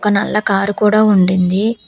ఒక నల్ల కారు కూడా ఉండింది.